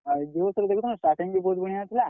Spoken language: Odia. ହଏ starting ବି ବହୁତ୍ ବଢିଆ ହେଇଥିଲା।